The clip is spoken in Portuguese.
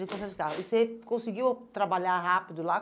E você conseguiu trabalhar rápido lá?